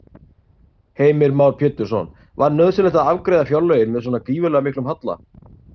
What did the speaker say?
Heimir Már Pétursson: Var nauðsynlegt að afgreiða fjárlögin með svona gífurlega miklum halla?